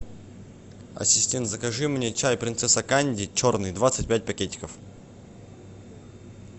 ассистент закажи мне чай принцесса канди черный двадцать пять пакетиков